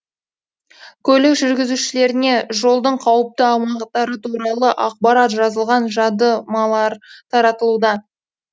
көлік жүргізушілеріне жолдың қауіпті аумақтары туралы ақпарат жазылған жадымалар таратылуда